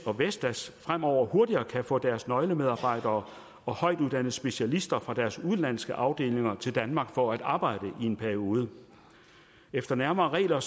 og vestas fremover hurtigere kan få deres nøglemedarbejdere og højtuddannede specialister fra deres udenlandske afdelinger til danmark for at arbejde i en periode efter nærmere regler